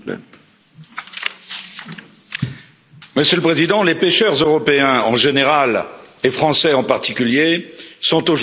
Monsieur le Président, les pêcheurs européens en général et les pêcheurs français en particulier sont aujourd'hui confrontés à de graves difficultés.